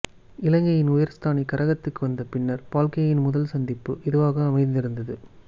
இலங்கையின் உயர்ஸ்தானிகரகத்துக்கு வந்த பின்னர் பக்லேயின் முதல் சந்திப்பு இதுவாக அமைந்திருந்தது